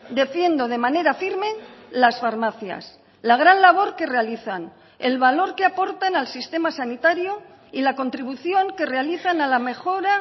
defiendo de manera firme las farmacias la gran labor que realizan el valor que aportan al sistema sanitario y la contribución que realizan a la mejora